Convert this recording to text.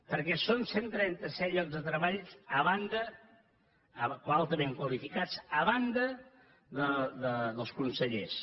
perquè són cent i trenta set llocs de treball altament qualificats a banda dels consellers